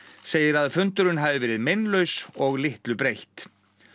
segir að fundurinn hafi verið meinlaus og litlu breytt